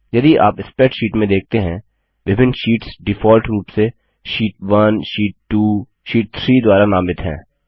यदि आप स्प्रैडशीट में देखते हैं विभिन्न शीट्स डिफॉल्ट रूप से शीट 1 शीट 2 शीट 3 द्वारा नामित हैं